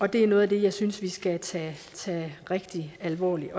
det er noget af det jeg synes vi skal tage rigtig alvorligt